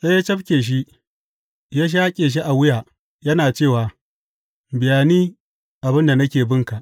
Sai ya cafke shi, ya shaƙe shi a wuya yana cewa, Biya ni abin da nake binka!’